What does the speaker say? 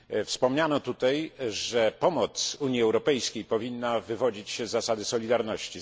Wspomniano tutaj, że pomoc Unii Europejskiej powinna wywodzić się z zasady solidarności.